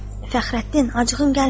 Fəxrəddin, acığın gəlməsin.